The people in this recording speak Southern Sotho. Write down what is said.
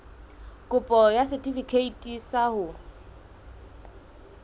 kopo ya setefikeiti sa ho